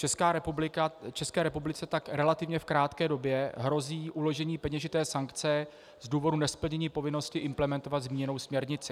České republice tak relativně v krátké době hrozí uložení peněžité sankce z důvodu nesplnění povinnosti implementovat zmíněnou směrnici.